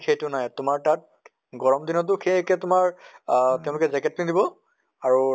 সেইটো নাই তোমাৰ তাত গৰম দিন টো সেই একে তোমাৰ আহ তেওঁলোকে jacket পিন্ধিব আৰু